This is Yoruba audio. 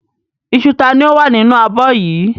Iṣu ta ni ó wà nínú abọ́ yìí?